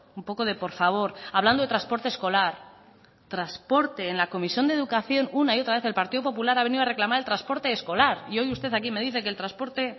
un poco de por favor hablando de transporte escolar transporte en la comisión de educación una y otra vez el partido popular ha venido a reclamar el transporte escolar y hoy usted aquí me dice que el transporte